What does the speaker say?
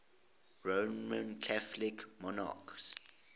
roman catholic monarchs